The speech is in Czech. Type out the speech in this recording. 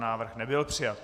Návrh nebyl přijat.